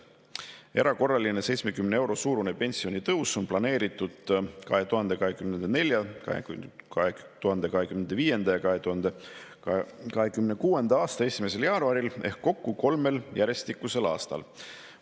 Erakorraline 70 euro suurune pensionitõus on planeeritud 2024., 2025. ja 2026. aasta 1. jaanuaril ehk kokku kolmel järjestikusel aastal.